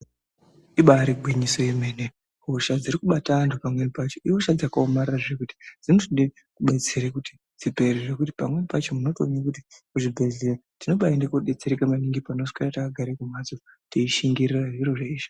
Ibari gwinyiso yemene hosha dziri kubata antu pamweni pacho ihosha dzakaomarara zvekuti dzinotoda kudetsera kuti dzipere zvekuti tinoona kuti kuzvibhedhleya tinombadetserwa pane kuswera kumhatso teishingirira zviro zvinezvi.